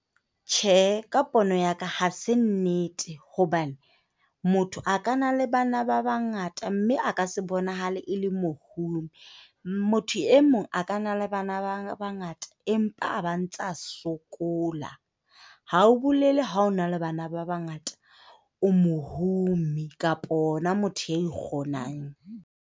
Tjhe, ka pono ya ka, ha se nnete. Hobane motho a ka na le bana ba bangata mme a ka se bonahale e le mohumi. Motho e mong a ka na bana ba bangata, empa a ba ntsa sokola. Ha ho bolele ha o na le bana ba bangata o mohumi kapa ona motho a ikgonang.